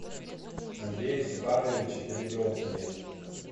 андрее степановиче перепелкине